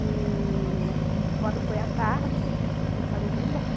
E quando foi a tarde, e eu falei, eu quero ir embora.